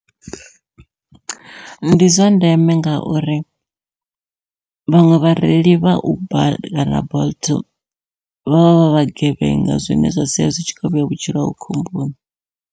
Ndi zwa ndeme ngauri vhaṅwe vhareili vha uber kana bolt vhavha vha vhagevhenga, zwine zwa sia zwi tshi khou vhea vhutshilo hawe khomboni.